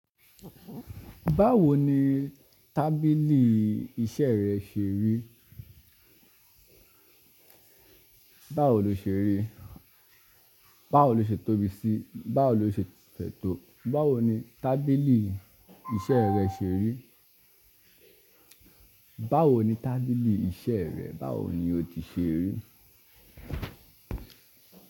Báwo ni tábìlì iṣẹ́ rẹ ṣe rí? Báwo lo ṣe rí? Báwo lo ṣe tóbi sí? Báwo lo ṣe sètò? Báwo ni tábìlì iṣẹ́ rẹ ṣe rí? Báwo ni tábìlì iṣẹ́ rẹ, báwo ni o ti ṣe rí?